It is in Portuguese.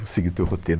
Vou seguir teu roteiro.